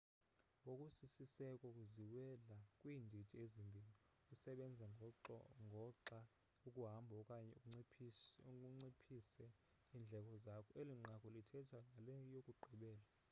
ngokusisiseko ziwela kwiindidi ezimbini usebenza ngoxa ukuhambo okanye unciphise iindleko zakho eli nqaku lithetha ngale yokugqibela